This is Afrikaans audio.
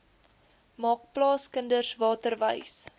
maak plaaskinders waterwys